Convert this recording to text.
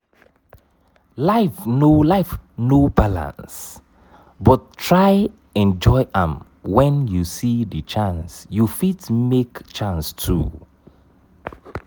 life no life no balance but try enjoy am when you see di chance you fit make chance too